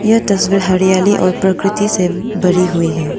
यह तस्वीर हरियाली और प्रकृति से भरी हुई है।